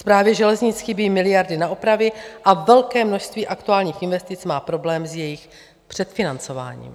Správě železnic chybí miliardy na opravy a velké množství aktuálních investic má problém s jejich předfinancováním.